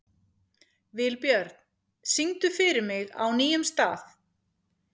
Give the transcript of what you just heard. Vilbjörn, syngdu fyrir mig „Á nýjum stað“.